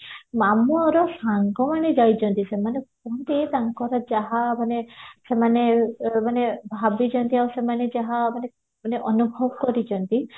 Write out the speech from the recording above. ମାମୁଆର ସାଙ୍ଗ ମାନେ ଯାଇଚନ୍ତି ସେମାନେ ତାଙ୍କର ଯାହା ମାନେ ସେମାନେ ମାନେ ଭାବିଚନ୍ତି ଆଉ ସେମାନେ ଯାହା ମାନେ ମାନେ ଅନୁଭବ କରିଚନ୍ତି